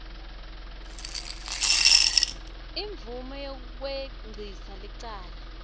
imvume yekwengcisa licala